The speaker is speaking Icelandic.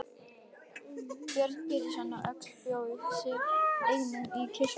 Björn Pétursson á Öxl bjó sig einnig til kirkju.